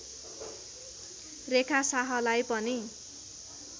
रेखा साहलाई पनि